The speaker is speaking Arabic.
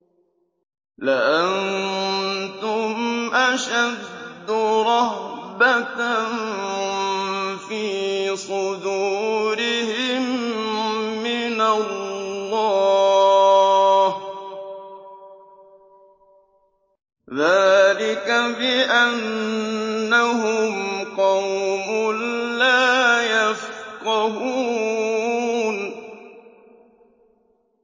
لَأَنتُمْ أَشَدُّ رَهْبَةً فِي صُدُورِهِم مِّنَ اللَّهِ ۚ ذَٰلِكَ بِأَنَّهُمْ قَوْمٌ لَّا يَفْقَهُونَ